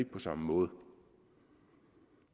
på samme måde